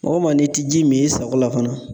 Maa o maa n'i ti ji min i sago la fana